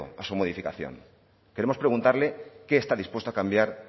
a su modificación queremos preguntarle qué está dispuesto a cambiar